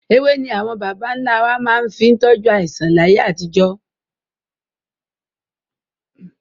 Ewé ni àwọn bàbà ń lá wá fi máa ń tọju àìsàn láyé àtijọ́